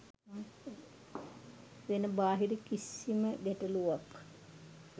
වෙන බාහිර කිසිම ගැටලුවක්